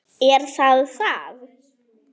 Er það það?